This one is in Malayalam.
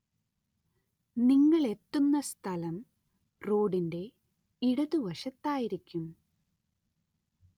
നിങ്ങളെത്തുന്ന സ്ഥലം റോഡിന്റെ ഇടതുവശത്തായിരിക്കും.